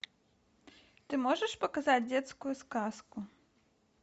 ты можешь показать детскую сказку